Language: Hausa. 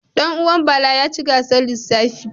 Ɗan uwan Bala ya ci gasar lissafi.